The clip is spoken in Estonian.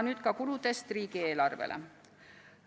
Nüüd ka riigieelarve kuludest.